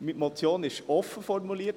Meine Motion ist offen formuliert.